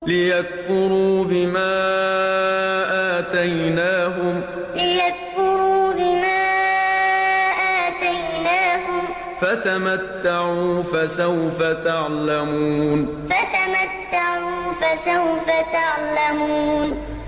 لِيَكْفُرُوا بِمَا آتَيْنَاهُمْ ۚ فَتَمَتَّعُوا فَسَوْفَ تَعْلَمُونَ لِيَكْفُرُوا بِمَا آتَيْنَاهُمْ ۚ فَتَمَتَّعُوا فَسَوْفَ تَعْلَمُونَ